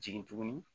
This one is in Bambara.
Jigin tuguni